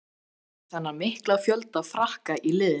Hvað finnst þér um þennan mikla fjölda Frakka í liðinu?